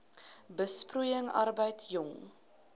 besproeiing arbeid jong